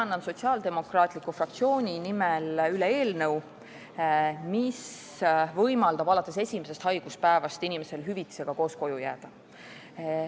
Annan Sotsiaaldemokraatliku Erakonna fraktsiooni nimel üle eelnõu, mis võimaldab inimesel alates esimesest haiguspäevast hüvitisega koju jääda.